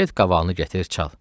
Get qavalıını gətir çalı.